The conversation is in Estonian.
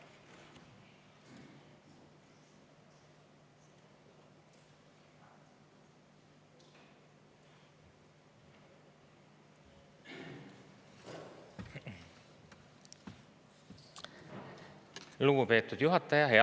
Lugupeetud juhataja!